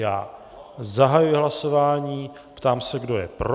Já zahajuji hlasování, ptám se, kdo je pro.